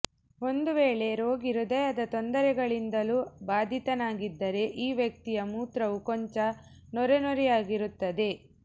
ಒಂದು ವೇಳೆ ರೋಗಿ ಹೃದಯದ ತೊಂದರೆಗಳಿಂದಲೂ ಬಾಧಿತನಾಗಿದ್ದರೆ ಈ ವ್ಯಕ್ತಿಯ ಮೂತ್ರವೂ ಕೊಂಚ ನೊರೆನೊರೆಯಾಗಿರುತ್ತದೆ